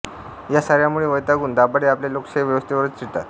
या साऱ्यांमुळे वैतागून दाभाडे आपल्या लोकशाही व्यवस्थेवरच चिडतात